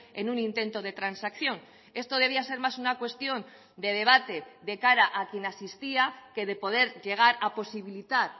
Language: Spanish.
en un intento de transacción esto debía ser más una cuestión de debate de cara a quien asistía que de poder llegar a posibilitar